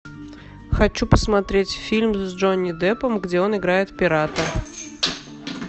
хочу посмотреть фильм с джонни деппом где он играет пирата